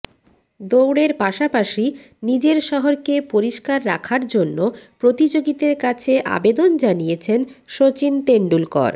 দৌড়ের পাশাপাশি নিজের শহরকে পরিষ্কার রাখার জন্য প্রতিযোগীদের কাছে আবেদন জানিয়েছেন সচিন তেন্ডুলকর